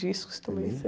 Discos também